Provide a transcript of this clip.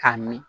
K'a mi